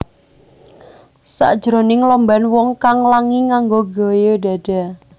Sakjroning lomban wong kang langi nganggo gaya dada